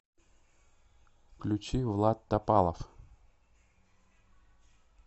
включи влад топалов